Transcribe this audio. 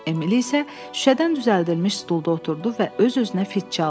Emil isə şüşədən düzəldilmiş stolda oturdu və öz-özünə fit çaldı.